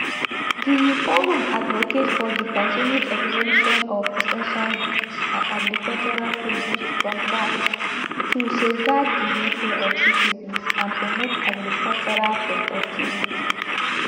di forum advocate for di continued exemption of essential goods and agricultural produce from vat to safeguard di welfare of citizens and promote agricultural productivity